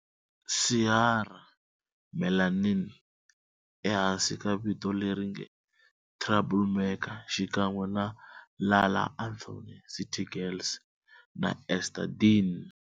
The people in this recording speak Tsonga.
Ciara "Melanin" ehansi ka vito leri nge,"Troublemaker" xikan'we na La La Anthony, City Girls, na Ester Dean.